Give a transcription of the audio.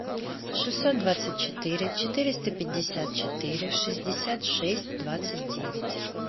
шестьсот двадцать четыре четыреста пятьдесят четыре шестьдесят шесть двадцать девять